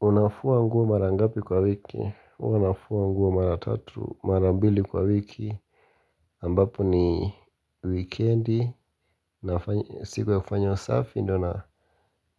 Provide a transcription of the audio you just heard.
Unafua nguo mara ngapi kwa wiki? Huwa nafua nguo mara tatu, mara mbili kwa wiki ambapo ni weekendi siku ya kufanya usafi ndo na ndo